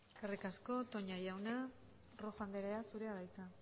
eskerrik asko toña jauna rojo andrea zurea da hitza